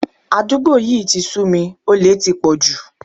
Àdúgbò yí ti sú mi, olè ti pọ̀ jù.